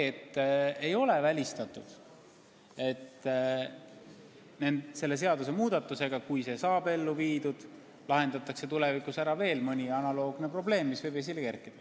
Samas ei ole välistatud, et selle seadusmuudatusega, kui see saab ellu viidud, lahendatakse tulevikus ära veel mõni analoogne probleem, mis võib esile kerkida.